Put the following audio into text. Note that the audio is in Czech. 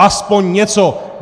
Aspoň něco.